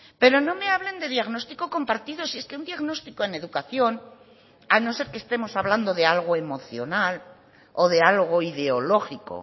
pero no me hablen de diagnóstico compartido si es que un diagnóstico en educación a no ser que estemos hablando de algo emocional o de algo ideológico